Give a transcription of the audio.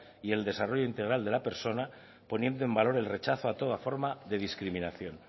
y el desarrollo integral de la persona poniendo en valor el rechazo a toda forma de discriminación